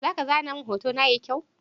Zaka zana mun hotona yayi kyau?